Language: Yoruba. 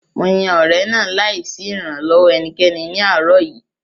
Mo yan ọ̀rẹ̀ náà láì sí ìrànlọ́wọ́ ẹnikẹ́ni ní àárọ̀ yìí